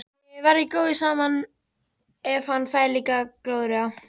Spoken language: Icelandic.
Þið verðið góðir saman ef hann fær líka glóðarauga!